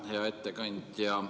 Hea ettekandja!